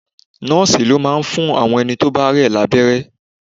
Nọ́ọ̀sì máa ń fún àwọn ẹni tí ó bá rẹ̀ lábẹ́rẹ́.